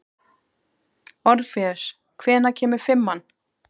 Orfeus, hvenær kemur fimman?